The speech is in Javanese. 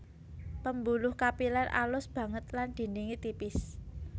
Pambuluh kapilèr alus banget lan dindingé tipis